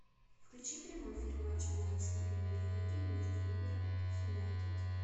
включи прямой эфир матча английской премьер лиги между ливером и юнайтед